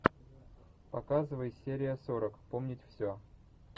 показывай серия сорок помнить все